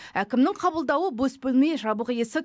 әкімнің қабылдауы бос бөлме жабық есік